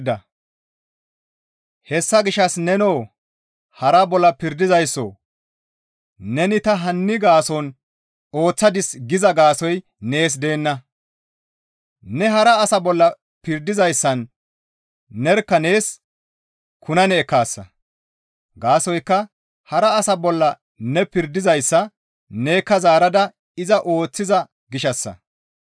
Hessa gishshas nenoo hara bolla pirdizaysso neni ta hanni gaason ooththadis giza gaasoykka nees deenna; ne hara asa bolla pirdizayssan nerkka nees kunane ekkaasa; gaasoykka hara asa bolla ne pirdizayssa nekka zaarada iza ooththiza gishshassa.